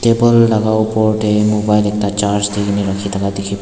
uppar te mobile ekta charge rakhi thaka dekhi ase.